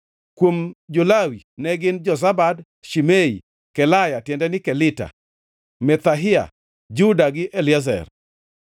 Kuom jo-Lawi ne gin: Jozabad, Shimei, Kelaya (tiende ni Kelita), Pethahia, Juda gi Eliezer.